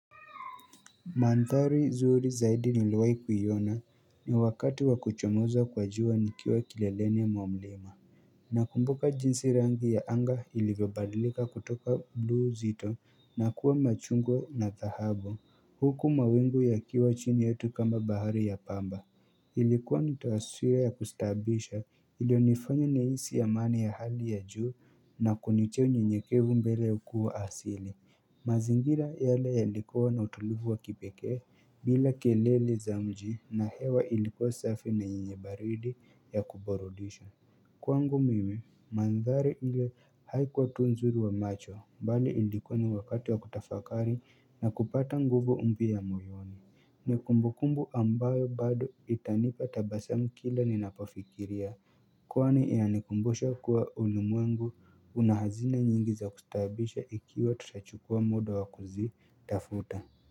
Manthari zuri zaidi niliwahi kuiona ni wakati wakuchomoza kwa jua nikiwa kileleni mwa mlima. Nakumbuka jinsi rangi ya anga ilivyobadilika kutoka blu zito na kuwa machungwa na dhahabu huku mawingu yakiwa chini yetu kama bahari ya pamba. Ilikuwa ni taswira ya kustaabisha ilionifanya nihisi amani ya hali ya juu na kunitia nyenyekevu mbele ukuu asili mazingira yale yalikuwa na utulivu wa kipekee bila kelele za mji na hewa ilikuwa safi na yenye baridi ya kuburudisha Kwangu mimi manthari ile haikuwa tu nzuri wa macho bali ilikuwa ni wakati wa kutafakari na kupata nguvu mpya ya moyoni ni kumbukumbu ambayo bado itanipa tabasamu kila ninapofikiria Kwani inanikumbusha kuwa ulimwengu una hazina nyingi za kustaabisha ikiwa tutachukua muda wakuzitafuta.